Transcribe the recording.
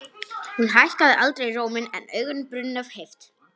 Hún hækkaði aldrei róminn en augun brunnu af heift.